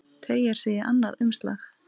Teygir sig í annað umslag.